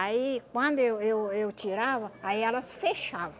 Aí quando eu eu eu tirava, aí elas fechavam.